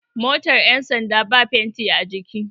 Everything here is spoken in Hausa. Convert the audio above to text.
motar yansanda ba fenti a jiki